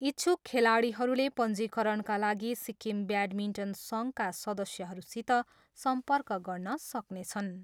इच्छुक खेलाडीहरूले पञ्जीकरणका लागि सिक्किम ब्याडमिन्टन सङ्घका सदस्यहरूसित सम्पर्क गर्न सक्नेछन्।